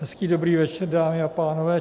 Hezký dobrý večer, dámy a pánové.